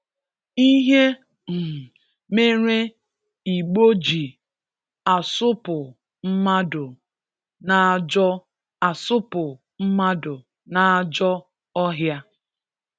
Ihe um mere Igbo ji asụpụ mmadụ n'ajọ asụpụ mmadụ n'ajọ ọhịa